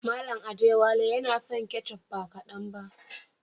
Mallam Adewale yana son ketchup ba kadan ba.